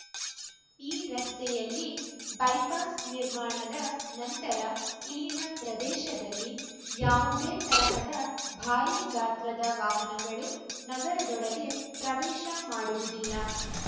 ಈ ರಸ್ತೆಯಲ್ಲಿ ಬೈಪಾಸ್‌ ನಿರ್ಮಾಣದ ನಂತರ ಇಲ್ಲಿನ ಪ್ರದೇಶದಲ್ಲಿ ಯಾವುದೇ ತರಹದ ಭಾರೀ ಗಾತ್ರದ ವಾಹನಗಳು ನಗರದೊಳಗೆ ಪ್ರವೇಶ ಮಾಡುವುದಿಲ್ಲ